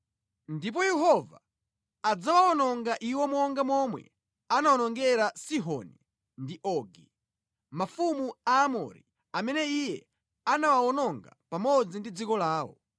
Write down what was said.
Ndipo Yehova adzawawononga iwo monga momwe anawonongera Sihoni ndi Ogi, mafumu Aamori, amene Iye anawawononga pamodzi ndi dziko lawo.